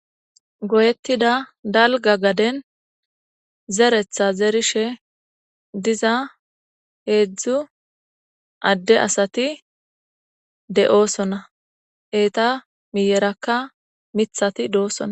goyettida dalga gaden zeretha zerishe diza heedzdzu adde asati de7oosona eeta miyerakka mithati doosona